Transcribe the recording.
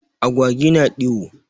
Agwawi na ɗiwo.